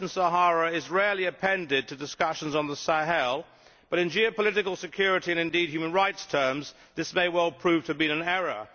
Western Sahara is rarely appended to discussions on the Sahel, but in geopolitical security and indeed human rights terms, this may well prove to have been an error.